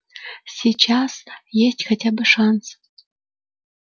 сейчас есть хотя бы шанс